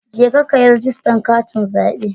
Jeka kayi rijistar katin zabe.